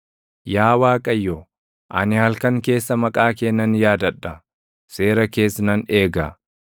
Yaa Waaqayyo, ani halkan keessa maqaa kee nan yaadadha; seera kees nan eega.